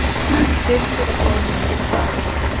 Birgir á tveimur undir pari